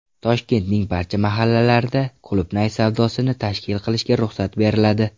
Toshkentning barcha mahallalarida qulupnay savdosini tashkil qilishga ruxsat beriladi.